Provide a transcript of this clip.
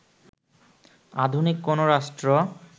আধুনিক কোনো রাষ্ট্র